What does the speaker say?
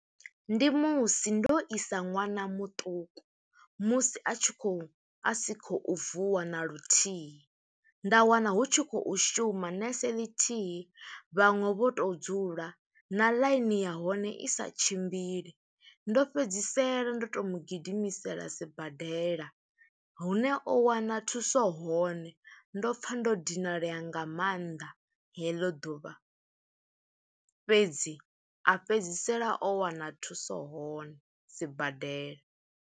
Ndi musi ndo isa ṅwana muṱuku, musi a tshi khou, a si khou vuwa na luthihi. Nda wana hu tshi khou shuma nese ḽithihi, vhaṅwe vho to dzula na ḽaini ya hone i sa tshimbili. Ndo fhedzisela ndo to mu gidimisela sibadela, hune o wana thuso hone. Ndo pfa ndo dinalea nga mannḓa heḽo ḓuvha, fhedzi a fhedzisela o wana thuso hone sibadela.